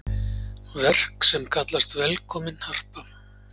Verk sem kallast Velkomin Harpa.